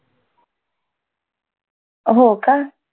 हो का?